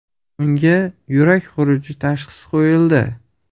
Unga yurak xuruji tashhisi qo‘yildi.